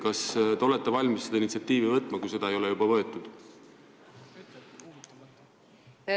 Kas te olete valmis selle enda peale võtma, kui seda ei ole juba tehtud?